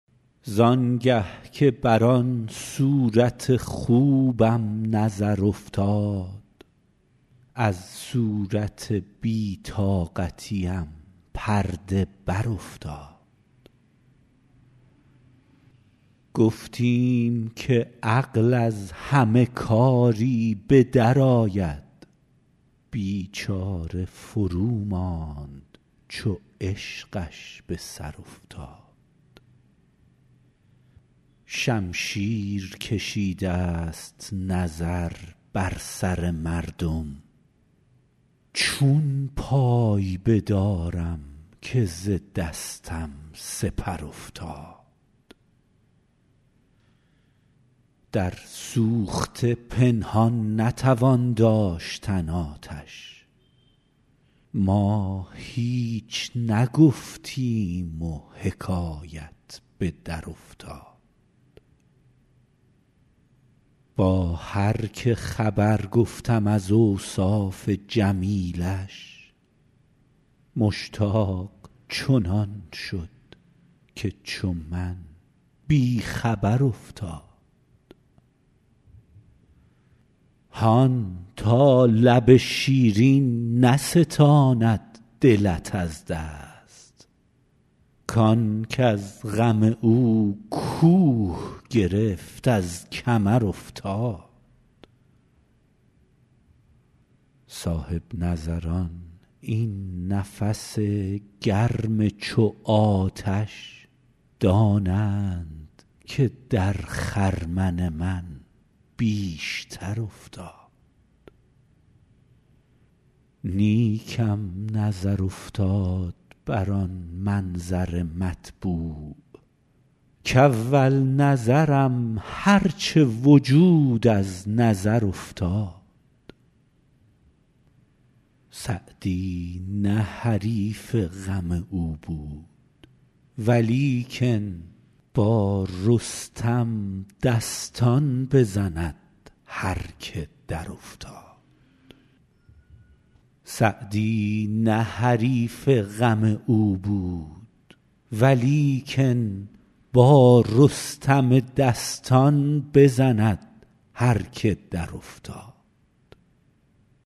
زان گه که بر آن صورت خوبم نظر افتاد از صورت بی طاقتیم پرده برافتاد گفتیم که عقل از همه کاری به درآید بیچاره فروماند چو عشقش به سر افتاد شمشیر کشیدست نظر بر سر مردم چون پای بدارم که ز دستم سپر افتاد در سوخته پنهان نتوان داشتن آتش ما هیچ نگفتیم و حکایت به درافتاد با هر که خبر گفتم از اوصاف جمیلش مشتاق چنان شد که چو من بی خبر افتاد هان تا لب شیرین نستاند دلت از دست کان کز غم او کوه گرفت از کمر افتاد صاحب نظران این نفس گرم چو آتش دانند که در خرمن من بیشتر افتاد نیکم نظر افتاد بر آن منظر مطبوع کاول نظرم هر چه وجود از نظر افتاد سعدی نه حریف غم او بود ولیکن با رستم دستان بزند هر که درافتاد